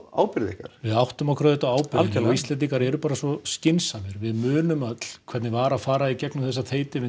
ábyrgð ykkar við áttum okkur auðvitað á ábyrgðinni Íslendingar eru bara svo skynsamir við munum öll hvernig það var að fara í gegnum þessa